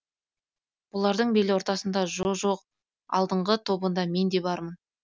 бұлардың бел ортасында жо жоқ алдыңғы тобында мен де бармын